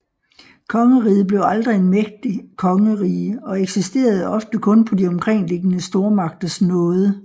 Kongeriget blev aldrig en mægtig kongerige og eksisterede ofte kun på de omkringliggende stormagters nåde